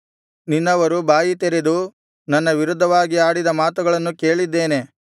ನಿನ್ನವರು ಬಾಯಿ ತೆರೆದು ನನ್ನ ವಿರುದ್ಧವಾಗಿ ಆಡಿದ ಮಾತುಗಳನ್ನು ಕೇಳಿದ್ದೇನೆ